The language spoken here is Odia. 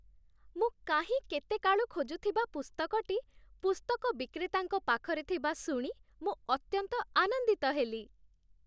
ମୁଁ କାହିଁ କେତେ କାଳୁ ଖୋଜୁଥିବା ପୁସ୍ତକଟି ପୁସ୍ତକ ବିକ୍ରେତାଙ୍କ ପାଖରେ ଥିବା ଶୁଣି ମୁଁ ଅତ୍ୟନ୍ତ ଆନନ୍ଦିତ ହେଲି!